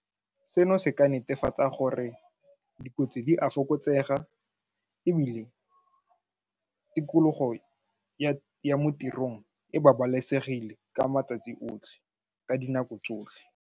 Seno se ka netefatsa gore dikotsi di a fokotsega ebile tikologo ya mo tirong e babalesegile ka matsatsi otlhe, ka dinako tsotlhe.